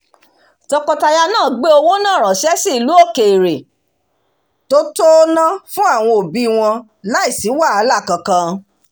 tọkọtaya náà gbé owó náà ranse sí ìlú òkèrè to tó ná fún àwọn òbí wọn láìsí wàhálà kankan